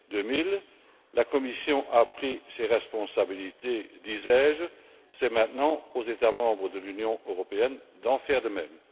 2000. La Commission a pris ses responsabilités, disais je, c'est maintenant aux États membres de l'Union européenne d'en faire de même.